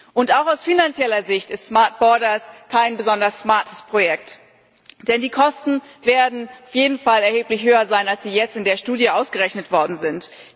Und auch aus finanzieller Sicht ist smart borders kein besonders smartes Projekt, denn die Kosten werden auf jeden Fall erheblich höher sein, als sie jetzt in der Studie ausgerechnet worden sind.